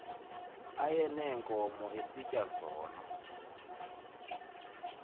ayeneenkomo esitya zona